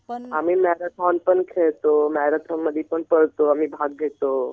आम्ही मॅरेथॉन पण खेळतो, मॅरेथॉन मधी पण पळतो आम्ही भाग घेतो.